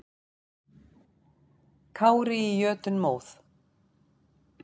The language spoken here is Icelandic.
Kári í jötunmóð.